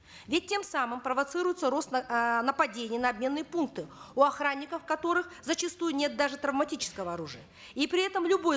ведь тем самым провоцируется рост э нападений на обменные пункты у охранников которых зачастую нет даже травматического оружия и при этом любой